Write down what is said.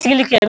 Tilikɛ